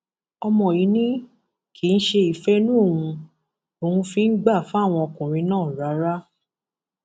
ọmọ yìí ni kì í ṣe ìfẹ inú òun lòun fi ń gbà fáwọn ọkùnrin náà rárá